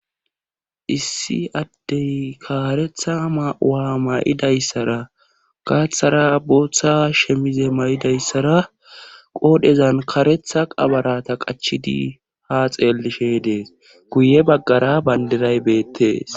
Issi addey kaaretha ma7uwa ma7idayssara gaaththara booththa shemize may7idayssara qoodhezan kaaretha qabarata qachidi ha xeellishe dees guye baggara bandiray beettees